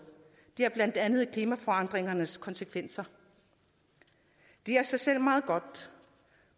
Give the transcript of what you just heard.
det er blandt andet klimaforandringernes konsekvenser det er i sig selv meget godt